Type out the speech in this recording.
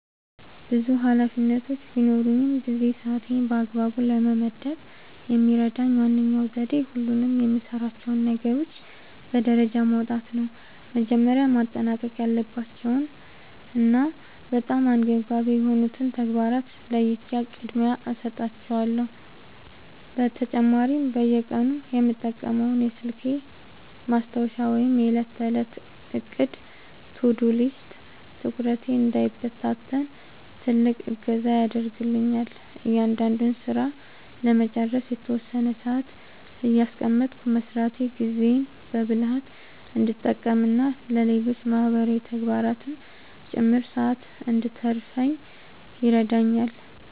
ብዙ ኃላፊነቶች በሚኖሩኝ ጊዜ ሰዓቴን በአግባቡ ለመመደብ የሚረዳኝ ዋነኛው ዘዴ ሁሉንም የምሠራቸውን ነገሮች በደረጃ ማውጣት ነው። መጀመሪያ ማጠናቀቅ ያለባቸውንና በጣም አንገብጋቢ የሆኑትን ተግባራት ለይቼ ቅድሚያ እሰጣቸዋለሁ። በተጨማሪም በየቀኑ የምጠቀመው የስልኬ ማስታወሻ ወይም የዕለት ተዕለት ዕቅድ (To-Do List) ትኩረቴ እንዳይበታተን ትልቅ እገዛ ያደርግልኛል። እያንዳንዱን ሥራ ለመጨረስ የተወሰነ ሰዓት እያስቀመጥኩ መሥራቴ ጊዜዬን በብልሃት እንድጠቀምና ለሌሎች ማህበራዊ ተግባራትም ጭምር ሰዓት እንድተርፈኝ ይረዳኛል።